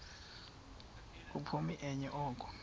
khuphoni enye oko